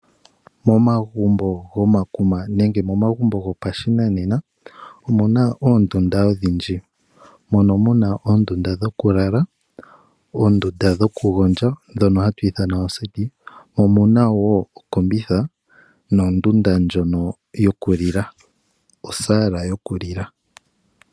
Momagumbo gomakuma nenge gopashinanena omuna oondunda odhindji. Mono muna oondunda dhokulala, oondunda dhokugondja ndhono hatu ithana oseti, mo omuna wo okombitha nondunda ndjono yokulila osaala yokulila.